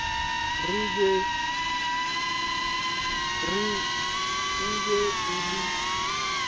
re e be e le